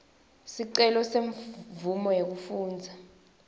sicelo semvumo yekufundza